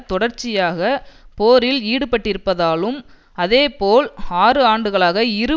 தொடர்ச்சியாக போரில் ஈடுபட்டிருப்பதாலும் அதே போல் ஆறு ஆண்டுகளாக இரு